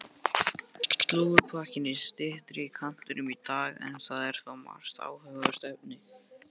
Slúðurpakkinn er í styttri kantinum í dag en þar er þó margt áhugavert efni.